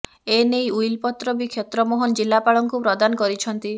ଏନେଇ ଉଇଲ ପତ୍ର ବି କ୍ଷେତ୍ର ମୋହନ ଜିଲ୍ଲାପାଳଙ୍କୁ ପ୍ରଦାନ କରିଛନ୍ତି